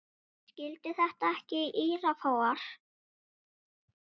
Skildi ekki þetta írafár.